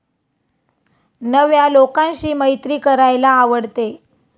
नव्या लोकांशी मैत्री करायला आवडते.